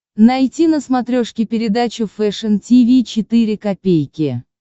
найти на смотрешке передачу фэшн ти ви четыре ка